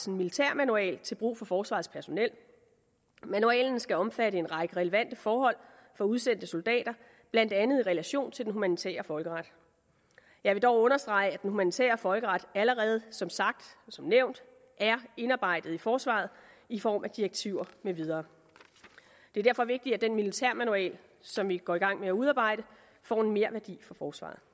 en militærmanual til brug for forsvarets personel manualen skal omfatte en række relevante forhold for udsendte soldater blandt andet i relation til den humanitære folkeret jeg vil dog understrege at den humanitære folkeret allerede som som nævnt er indarbejdet i forsvaret i form af direktiver med videre det er derfor vigtigt at den militærmanual som vi går i gang med at udarbejde får en merværdi for forsvaret